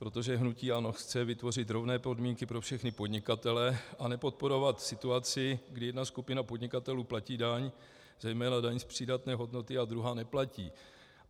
Protože hnutí ANO chce vytvořit rovné podmínky pro všechny podnikatele a nepodporovat situaci, kdy jedna skupina podnikatelů platí daň, zejména daň z přidané hodnoty, a druhá neplatí.